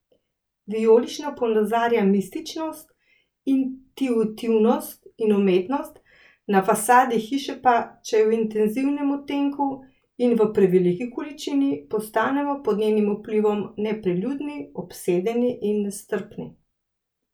Vijolična ponazarja mističnost, intuitivnost in umetnost, na fasadi hiše pa, če je v intenzivnem odtenku in v preveliki količini, postanemo pod njenim vplivom nepriljudni, obsedeni in nestrpni.